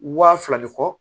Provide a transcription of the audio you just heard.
Waa fila ni kɔ